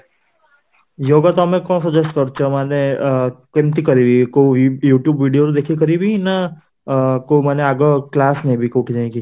yoga ତମେ କଣ suggest କରୁଛ ମାନେ ଅଂ କେମିତି କରିବି କୋଉ youtube ଭିଡ଼ିଓ ରୁ ଦେଖିକି କରିବି ନ ଅଂ କୋଉ ମାନେ ଆଗ କ୍ଲାସ ନେବି କୋଉଠି ଯାଇକି